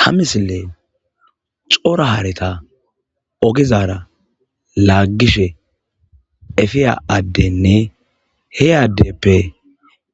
Ha misile xora haareta ogizara laaggishe efiya addenne he addeppe